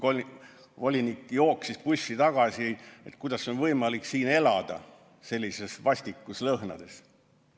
Volinik jooksis bussi tagasi ja küsis, kuidas on võimalik siin elada, sellises vastikus lõhnas.